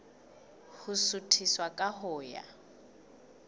ho suthisa ka ho ya